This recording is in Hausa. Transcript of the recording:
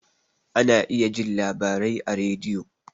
Ana iya jin labarai a rediyo